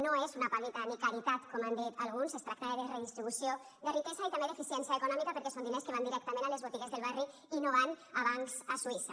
no és una paguita ni caritat com han dit alguns es tracta de redistribució de riquesa i també d’eficiència econòmica perquè són diners que van directament a les botigues del barri i no van a bancs a suïssa